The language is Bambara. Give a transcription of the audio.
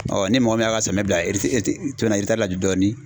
ni mɔgɔ min y'a ka samiya bila la dɔɔnin